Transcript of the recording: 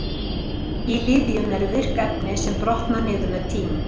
í lyfjum eru virk efni sem brotna niður með tíma